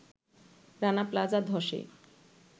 Rana plaza ধ্বসে